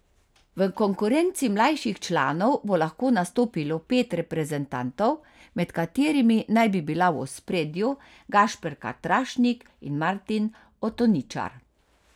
V konkurenci mlajših članov bo lahko nastopilo pet reprezentantov, med katerimi naj bi bila v ospredju Gašper Katrašnik in Martin Otoničar.